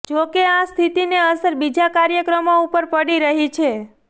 જોકે આ સ્થિતિને અસર બીજા કાર્યક્રમો ઉપર પડી રહી છે